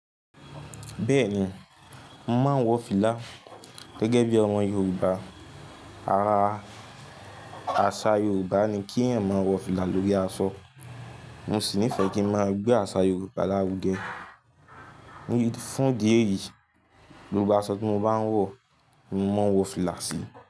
Bẹ́ẹ̀ni, mo màá wọ fìlà gẹ́gẹ́ bí ọmọ Yorùbá. Ara àṣà Yorùbá ni kí ẹ̀yàn máa wọ fìlà lórí aṣọ. Mo sì nífẹ̀ẹ́ kí ń máa gbé àṣà Yorùbá lárugẹ. Ní fún díẹ̀ eyìí, gbogbo aṣọ tí mo bá ń wọ̀, mo máa wọ fìlà sí i.